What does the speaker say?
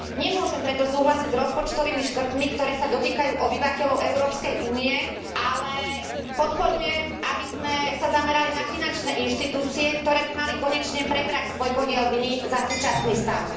Nemôžem preto súhlasiť s rozpočtovými škrtmi, ktoré sa dotýkajú obyvateľov Európskej únie, ale podporujem, aby sme sa zamerali na finančné inštitúcie, ktoré by mali konečne prebrať svoj podiel viny za súčasný stav.